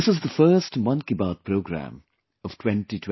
This is the first 'Mann Ki Baat' program of 2024